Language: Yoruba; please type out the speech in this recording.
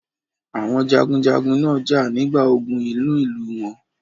Àwọn jagunjagun náà jà nígbà ogun inú ìlú wọn.